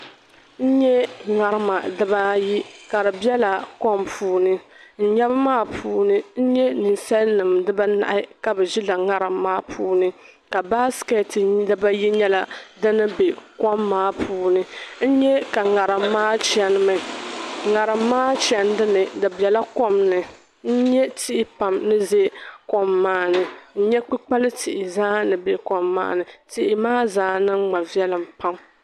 N-nye ŋarima dibaa ayi ka di bela kom puuni n-nyɛbu maa puuni n-nye ninsalinima dibaa anahi ka bɛ ʒila ŋarim maa puuni ka baskɛt dibaa ayi nyɛla din be kom maa puuni n-nye ka ŋarim maa chanimi ŋarim maa chandi ni di bela kom ni n-nye tihi kom maa ni n-kpukpal'tihi zaa ni be kom maani tihi maa zaa niŋ ma viɛlim pam.